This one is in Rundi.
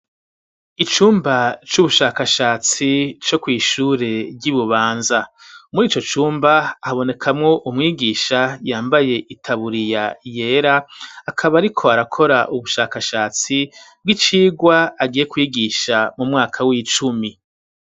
Icumba c'ubushakashatsi co kw'ishure ry'Ibubanza. Muri ico cumba habonekamwo umwigisha yambaye itaburiya yera, akaba ariko arakora ubushakashatsi bw'icigwa agiye kwigisha mu mwaka w'icumi.